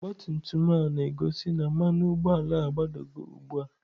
Ọgabtumtum m na-gosị na mmanu ugboala a gbadago ugbua.